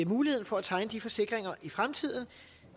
muligheden for at tegne de her forsikringer i fremtiden